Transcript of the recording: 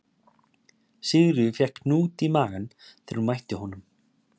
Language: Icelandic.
Sigríður fékk hnút í magann þegar hún mætti honum